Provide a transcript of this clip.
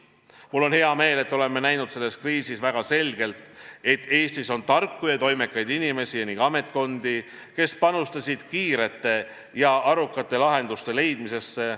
Mul on hea meel, et oleme näinud selles kriisis väga selgelt, et Eestis on tarku ja toimekaid inimesi ning ametkondi, kes panustasid kiirete ja arukate lahenduste leidmisse.